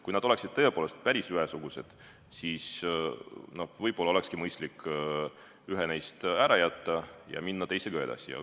Kui nad oleksid tõepoolest päris ühesugused, siis võib-olla olekski mõistlik üks neist kõrvale jätta ja minna teisega edasi.